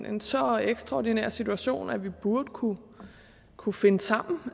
en så ekstraordinær situation at vi burde kunne kunne finde sammen